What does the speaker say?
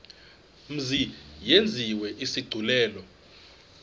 mzi yenziwe isigculelo